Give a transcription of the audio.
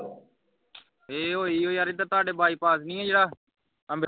ਏ ਹੋਹੀ ਉਹ ਯਾਰ ਏਧਰ ਤੁਹਾਡਾ ਬਾਈਪਾਸ ਨਹੀਂ ਹੈ ਜਿਹੜਾ ਅੰਮ੍ਰਿਤਸਰ